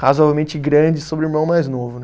razoavelmente grande sobre o irmão mais novo, né?